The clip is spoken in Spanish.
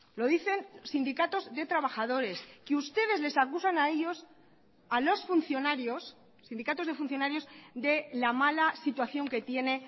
lo dicen sindicatos de trabajadores que ustedes les acusan a ellos a los funcionarios sindicatos de funcionarios de la mala situación que tiene